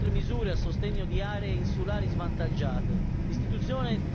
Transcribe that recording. Ben vengano, inoltre, misure a sostegno di aree insulari svantaggiate.